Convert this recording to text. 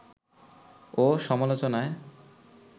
ও সমালোচনায়